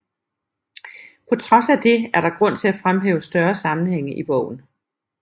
På trods af det er der grund til at fremhæve større sammenhænge i bogen